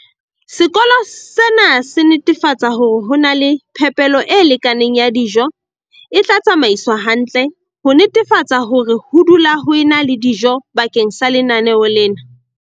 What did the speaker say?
Sekolo sena se netefatsa hore ho na le phepelo e lekaneng ya dijo e tla tsamaiswa hantle, ho netefatsa hore ho dula ho ena le dijo bakeng la lenaneo lena.